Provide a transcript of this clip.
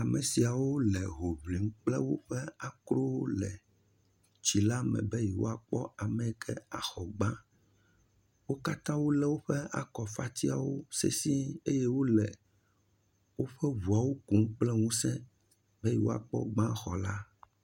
Ame siawo le ho ŋlin kple woƒe akrowo le tsila me be yeawoapkɔ ame yi ke axɔ gbã. Wo katã wolé woƒe akɔfatiawo sesẽe eye wole woƒe ŋuawo kum kple ŋusẽ be yewoakpɔ gbãxɔla.